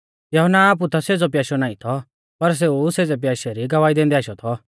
यहुन्ना आपु ता सेज़ौ प्याशौ नाईं थौ पर सेऊ सेज़ै प्याशै री गवाही दैंदै आशौ थौ